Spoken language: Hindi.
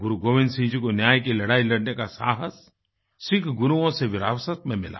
गुरु गोबिन्द सिंह जी को न्याय की लड़ाई लड़ने का साहस सिख गुरुओं से विरासत में मिला